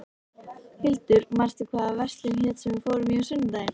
Hildur, manstu hvað verslunin hét sem við fórum í á sunnudaginn?